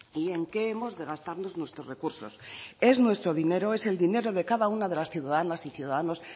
y en qué hemos de gastarnos nuestros recursos es nuestro dinero es el dinero de cada una de las ciudadanas y ciudadanos